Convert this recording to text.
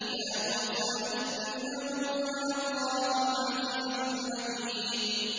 يَا مُوسَىٰ إِنَّهُ أَنَا اللَّهُ الْعَزِيزُ الْحَكِيمُ